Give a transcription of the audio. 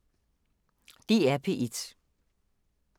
DR P1